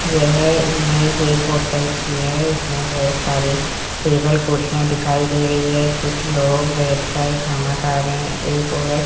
यह इमेज एक होटल की है इसमें बहुत सारी टेबल कुर्सियां दिखाई दे रही है कुछ लोग बैठकर खाना खा रहे हैं एक औरत--